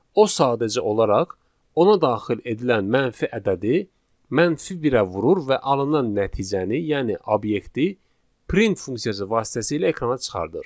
O sadəcə olaraq ona daxil edilən mənfi ədədi mənfi birə vurur və alınan nəticəni, yəni obyekti print funksiyası vasitəsilə ekrana çıxardır.